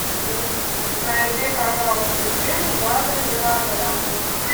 найди пожалуйста фильм в жанре мелодрама